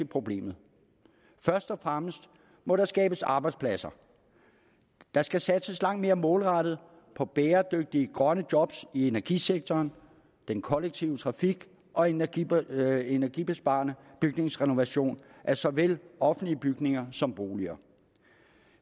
problemet først og fremmest må der skabes arbejdspladser der skal satses langt mere målrettet på bæredygtige grønne job i energisektoren den kollektive trafik og energibesparende energibesparende bygningsrenovering af såvel offentlige bygninger som boliger